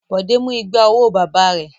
Bọ̀dé mú igba owó bàbá rẹ̀.